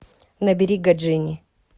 набери гаджини